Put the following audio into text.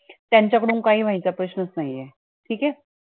त्यांचा कडून काही व्हायचा प्रश्नच नाहीये, ठीके